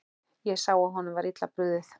Ég sá að honum var illa brugðið.